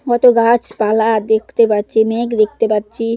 কত গাছ পালা দেখতে পাচ্ছি মেঘ দেখতে পাচ্ছি।